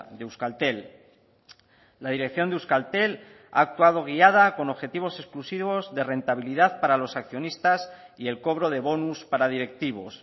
de euskaltel la dirección de euskaltel ha actuado guiada con objetivos exclusivos de rentabilidad para los accionistas y el cobro de bonus para directivos